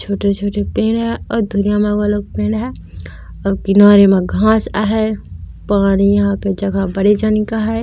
छोटे-छोटे पेड़ ह और दूरिया म आऊ अलग पेड़ ह आऊ किनारे म घास है पानी यहाँ के जगह बड़ेक जानिक है।